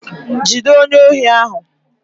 Jide onye ohi ahu